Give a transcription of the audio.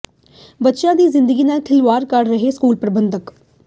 ਬੱਚਿਆਂ ਦੀ ਜ਼ਿੰਦਗੀ ਨਾਲ ਖਿਲਵਾੜ ਕਰ ਰਹੇ ਨੇ ਸਕੂਲ ਪ੍ਰਬੰਧਕ